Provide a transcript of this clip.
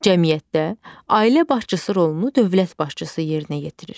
Cəmiyyətdə ailə başçısı rolunu dövlət başçısı yerinə yetirir.